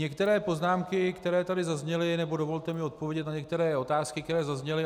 Některé poznámky, které tady zazněly, nebo dovolte mi odpovědět na některé otázky, které zazněly.